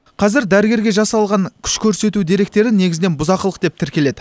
қазір дәрігерге жасалған күш көрсету деректері негізінен бұзақылық деп тіркеледі